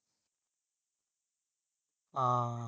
ਹਾਂ।